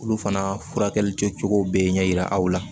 Olu fana furakɛli kɛcogow bɛ ɲɛ yira aw la